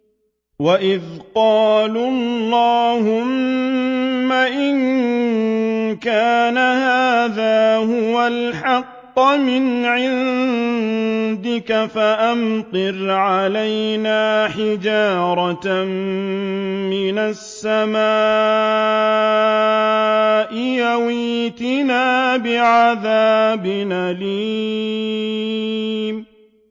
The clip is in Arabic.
وَإِذْ قَالُوا اللَّهُمَّ إِن كَانَ هَٰذَا هُوَ الْحَقَّ مِنْ عِندِكَ فَأَمْطِرْ عَلَيْنَا حِجَارَةً مِّنَ السَّمَاءِ أَوِ ائْتِنَا بِعَذَابٍ أَلِيمٍ